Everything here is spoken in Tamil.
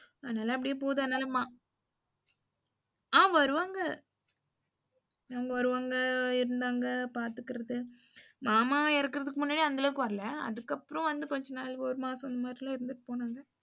அதுனால அப்டியே போகுது அதுனால ம அ வருவாங்க அவங்க வருவாங்க, இருந்தாங்க, பாத்துகிறது மாமா இறக்குறதுக்கு முன்னாடி அந்தளவுக்கு வரல. அதுக்கப்புறம் வந்து கொஞ்ச நாள் இந்த மாறில்லாம் இருந்துட்டு போனாங்க.